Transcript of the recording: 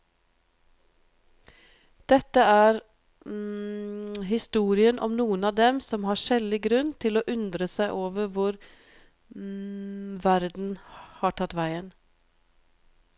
Dette er historien om noen av dem som har skjellig grunn til å undre seg over hvor verden har tatt veien.